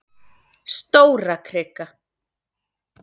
Stórakrika